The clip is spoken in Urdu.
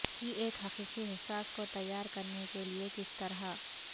کی ایک حقیقی احساس کو تیار کرنے کے لئے کس طرح